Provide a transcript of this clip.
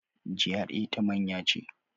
GRA ta manya ce.